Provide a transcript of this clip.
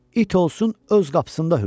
İt olsun, öz qapısında hürsün.